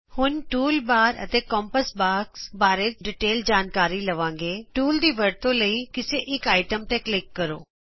ਹੁਣ tool bar ਅਤੇ compass box ਬਾਰੇ ਜਿਆਦਾ ਵੇਰਵੇ ਨਾਲ ਜਾਣਾਗੇਟੂਲ ਦੀ ਵਰਤੋਂ ਲਈ ਕਿਸੇ ਇਕ ਚੀਜਤੇ ਕਲਿਕ ਕਰੋੋ